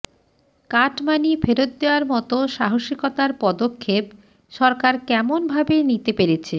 cut money ফেরৎ দেওয়ার মত সাহসিতার পদক্ষেপ সরকার কেমন ভাবে নিতে পেরেছে